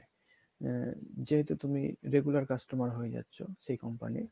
আ~ যেহেতু তুমি regular customer হয়ে যাচ্ছ সেই company র